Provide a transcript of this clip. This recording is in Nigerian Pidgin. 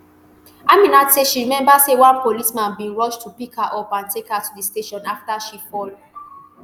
aminat say she remember say one policeman bin rush to pick her up and take her to di station afta she fall